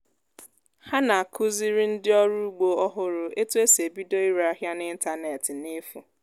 há nà à-kụziri ndị ọrụ ugbo ọhụrụ etú e si ebido ire áhịá n'ịntañánétị n'efù